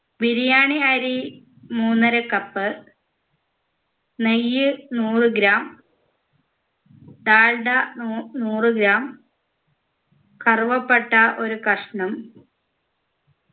ബിരിയാണി അരി മൂന്നര cup നെയ്യ് നൂറ് gram ഡാൽഡ നൂ നൂറ് gram കറുവപ്പട്ട ഒരു കഷ്ണം